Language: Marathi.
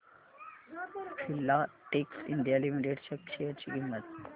फिलाटेक्स इंडिया लिमिटेड च्या शेअर ची किंमत